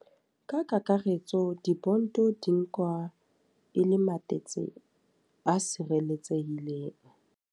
Ka kakaretso di-bond di nkwa e le matetse a sireletsehileng.